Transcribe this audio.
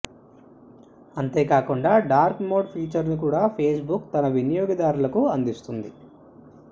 అంతేకాకండా dark mode feature ను కూడా Facebook తన వినియోగదారులకు అందిస్తోంది